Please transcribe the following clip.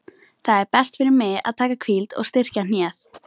Það er best fyrir mig að taka hvíld og styrkja hnéð.